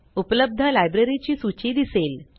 उपलब्ध लाइब्ररी ची सूची दिसेल